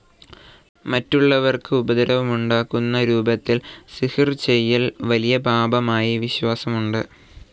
മറ്റുള്ളവർക്ക് ഉപദ്രവമുണ്ടാക്കുന്ന രൂപത്തിൽ സിഹ്ർ ചെയ്യൽ വലിയ പാപമായി വിശ്വാസമുണ്ട്.